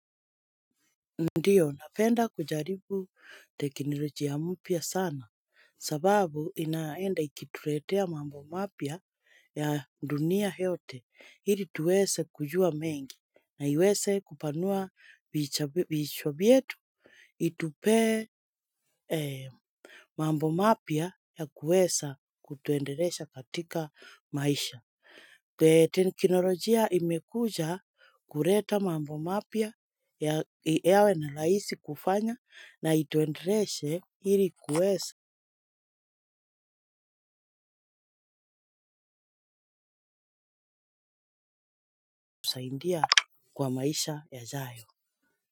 Ndiyo, napenda kujaribu teknolojia mpya sana, sababu inaenda ikituletea mambo mapya ya dunia yote, ili tuwese kujua mengi, na iwese kupanua vichwa vietu, itupe mambo mapya ya kuwesa kutuendelesha katika maisha. Teknolojia imekuja kuleta mambo mapya ya AI na rahisi kufanya na ituendeleshe ili kuwesa kusaidia kwa maisha yajayo.